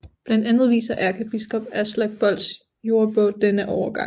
Blandt andet viser ærkebiskop Aslak Bolts Jordebog denne overgang